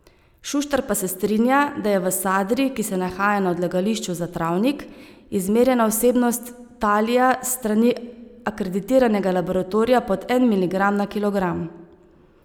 Šuštar pa se strinja, da je v sadri, ki se nahaja na odlagališču Za travnik, izmerjena vsebnost talija s strani akreditiranega laboratorija pod en miligram na kilogram.